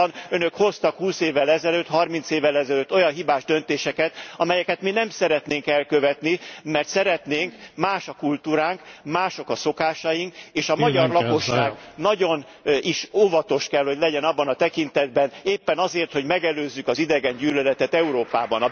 Valóban, Önök hoztak húsz évvel ezelőtt, harminc évvel ezelőtt olyan hibás döntéseket, amelyeket mi nem szeretnénk elkövetni, mert szeretnénk, más a kultúránk, mások a szokásaink, és a magyar lakosság nagyon is óvatos kell hogy legyen abban a tekintetben, éppen azért, hogy megelőzzük az idegengyűlöletet Európában.